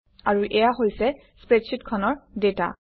আৰু এয়া হৈছে স্প্ৰেডশ্বিটখনৰ ডাটা